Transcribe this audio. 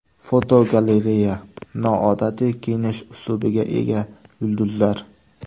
Fotogalereya: Noodatiy kiyinish uslubiga ega yulduzlar.